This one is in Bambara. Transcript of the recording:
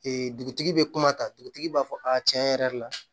dugutigi bɛ kuma ta dugutigi b'a fɔ a tiɲɛ yɛrɛ yɛrɛ la